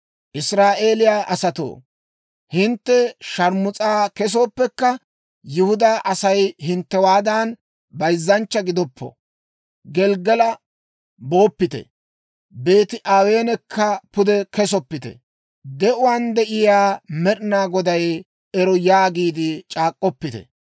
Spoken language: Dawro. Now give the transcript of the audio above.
«Israa'eeliyaa asatoo, hintte sharmus'a kesooppekka, Yihudaa Asay hinttewaadan, bayzzanchcha gidoppo. Gelggala booppite; Beeti-Aweenekka pude kesoppite; De'uwaan de'iyaa Med'inaa Goday ero! yaagiide c'aak'k'oppite.